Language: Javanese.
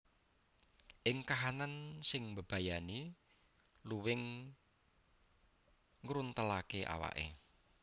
Ing kahanan sing mbebayani luwing ngruntelaké awaké